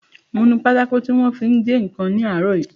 Mo nu pátákò tí wọ́n fi ń gé ǹkan ní àárọ̀ yìí